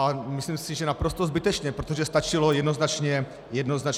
A myslím si, že naprosto zbytečně, protože stačilo jednoznačně poslouchat.